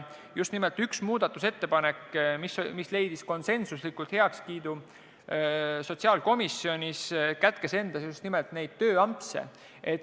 Üks muudatusettepanek, mis leidis konsensusliku heakskiidu sotsiaalkomisjonis, kätkes endas just nimelt tööampse.